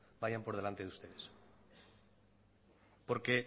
vayan por delante de ustedes